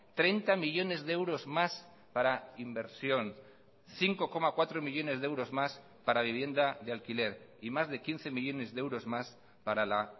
treinta millónes de euros más para inversión cinco coma cuatro millónes de euros más para vivienda de alquiler y más de quince millónes de euros más para la